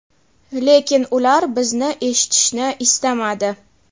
lekin ular bizni eshitishni istamadi.